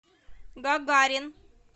гагарин